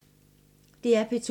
DR P2